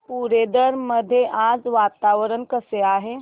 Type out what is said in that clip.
पुरंदर मध्ये आज वातावरण कसे आहे